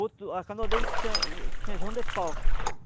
boto. A canoa dele tinha tinha jão de pau.